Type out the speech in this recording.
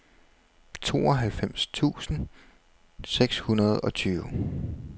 tooghalvfems tusind seks hundrede og tyve